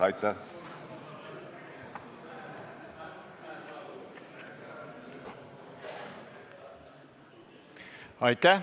Aitäh!